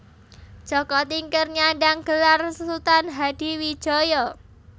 Jaka Tingkir nyandhang gelar Sultan Hadiwijaya